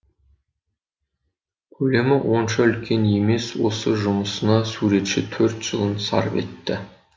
көлемі онша үлкен емес осы жұмысына суретші төрт жылын сарп етті